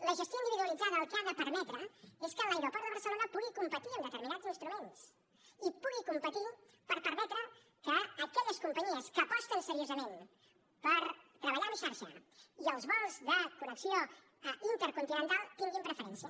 la gestió individualitzada el que ha de permetre és que l’aeroport de barcelona pugui competir amb determinats instruments i pugui competir per permetre que aquelles companyies que aposten seriosament per treballar en xarxa i els vols de connexió intercontinental tinguin preferència